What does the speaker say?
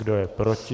Kdo je proti?